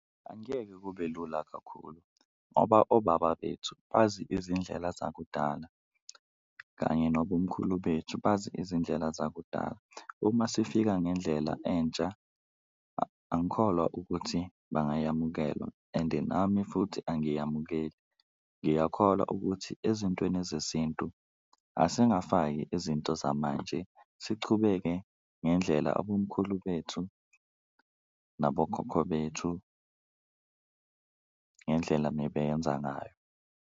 Angeke kube lula kakhulu ngoba obaba bethu bazi izindlela zakudala kanye nabomkhulu bethu bazi izindlela zakudala, uma sifika ngendlela entsha angikholwa ukuthi bangayamukelwa ende nami futhi angiyamukeli. Ngiyakholwa ukuthi ezintweni ezesintu asingafaki izinto zamanje, sichubeke ngendlela abomkhulu bethu nabokhokho bethu ngendlela mebeyenza ngayo.